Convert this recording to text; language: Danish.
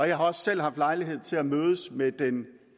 jeg har også selv haft lejlighed til at mødes med den